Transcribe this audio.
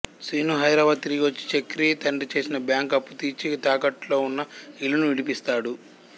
శీను హైదరాబాద్ తిరిగి వచ్చి చక్రి తండ్రి చేసిన బ్యాంక్ అప్పు తీర్చి తాకట్టులో ఉన్న ఇల్లును విడిపిస్తాడు